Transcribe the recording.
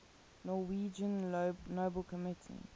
norwegian nobel committee